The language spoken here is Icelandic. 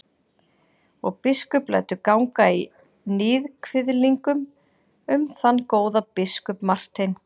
Og biskup lætur ganga í níðkviðlingum um þann góða biskup Martein.